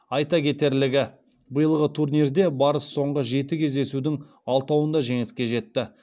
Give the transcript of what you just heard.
айта кетерлігі биылғы турнирде барыс соңғы жеті кездесудің алтауында жеңіске жетті